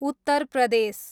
Uttar Pradesh